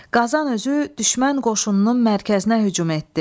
Qazan özü düşmən qoşununun mərkəzinə hücum etdi.